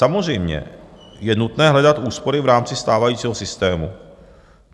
Samozřejmě je nutné hledat úspory v rámci stávajícího systému.